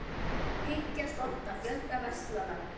Hyggjast opna fjölda verslana